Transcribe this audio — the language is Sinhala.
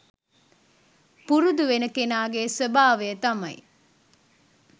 පුරුදු වෙන කෙනාගේ ස්වභාවය තමයි,